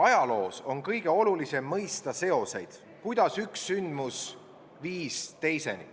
Ajaloos on kõige olulisem mõista seoseid, kuidas üks sündmus viis teiseni.